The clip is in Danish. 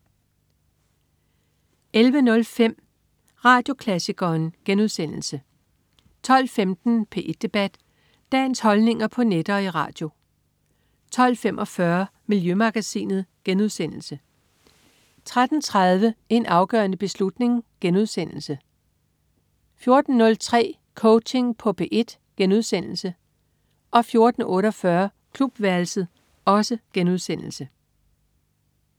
11.05 Radioklassikeren* 12.15 P1 Debat. Dagens holdninger på net og i radio 12.45 Miljømagasinet* 13.30 En afgørende beslutning* 14.03 Coaching på P1* 14.48 Klubværelset*